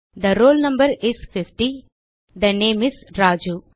they roll no is 50 the name is Raju